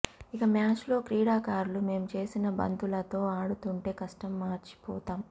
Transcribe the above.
ఇక మ్యాచ్లో క్రీడాకారులు మేం చేసిన బంతులతో ఆడుతుంటే కష్టం మర్చిపోతాం